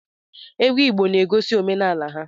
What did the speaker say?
Egwu Igbo na-egosi omenala ha.